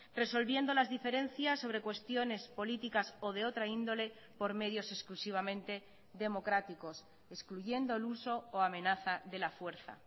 resolviendo las diferencias sobre cuestiones políticas o de otra índole por medios exclusivamente democráticos excluyendo el uso o amenaza de la fuerza